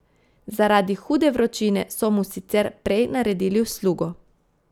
Zaradi hude vročine so mu sicer prej naredili uslugo.